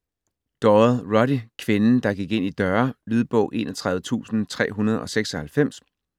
Doyle, Roddy: Kvinden der gik ind i døre Lydbog 31396